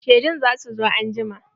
Shedun za su zo anjima.